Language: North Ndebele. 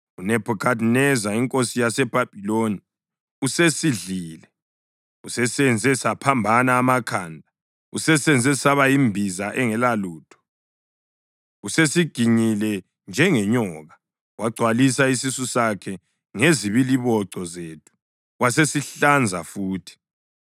“UNebhukhadineza inkosi yaseBhabhiloni usesidlile, usesenze saphambana amakhanda, usesenze saba yimbiza engelalutho. Usesiginyile njengenyoka, wagcwalisa isisu sakhe ngezibiliboco zethu, wasesihlanza futhi.